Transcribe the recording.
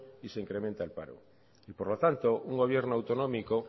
y se incrementa el paro y por lo tanto un gobierno autonómico